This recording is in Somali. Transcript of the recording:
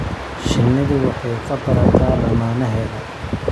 Shinnidu waxay ka barataa lammaaneheeda.